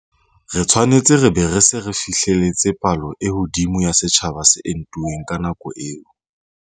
Re tshwanetse re be re se re fihlelletse palo e hodimo ya setjhaba se entuweng ka nako eo.